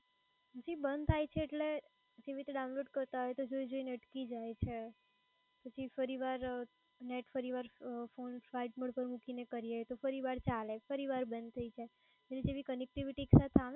જી બંધ થાય છે એટલે જેવી રીતે download કરતાં હોય તો જોયું ને અટકી જાય છે પછી ફરીવાર નેટ ફરીવાર phone flight mode પર મૂકીને કરીયે તો ફરિવાર ચાલે ફરીવાર બંધ થાય જય પછી connectivity છે